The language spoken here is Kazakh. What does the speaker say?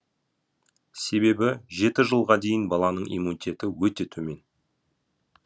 себебі жеті жылға дейін баланың иммунитеті өте төмен